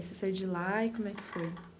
Aí você saiu de lá e como é que foi?